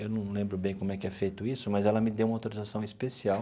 Eu não lembro bem como é que é feito isso, mas ela me deu uma autorização especial